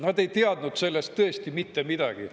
Nad ei teadnud sellest tõesti mitte midagi.